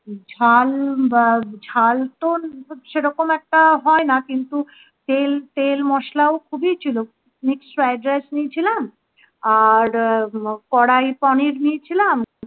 ঝাল বা ঝাল তো সেরকম একটা হয় না কিন্তু তেল তেল মশলা ও খুবই ছিল mixed fried rice নিয়েছিলাম আর করাই পানির নিয়েছিলাম